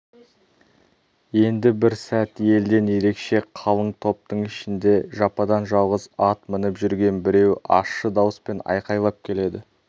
енді бір сәт елден ерекше қалың топтың ішінде жападан-жалғыз ат мініп жүрген біреу ащы дауыспен айқайлап келеді